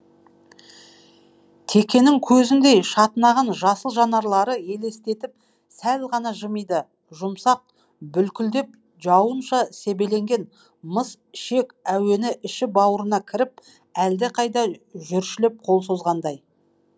текенің көзіндей шатынаған жасыл жанарларды елестетіп сәл ғана жымиды жұмсақ бүлкілдеп жауынша себеленген мыс ішек әуені іші бауырына кіріп әлдеқайда жүршілеп қол созғандай